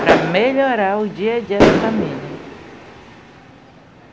para melhorar o dia-a-dia da família.